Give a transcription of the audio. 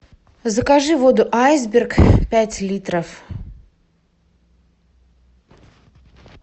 закажи воду айсберг пять литров